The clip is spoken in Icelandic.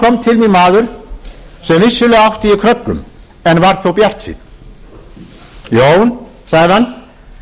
mín maður sem vissulega átti í kröggum en var þó bjartsýnn jón sagði hann við erum reiðubúin til